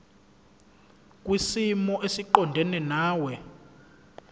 kwisimo esiqondena nawe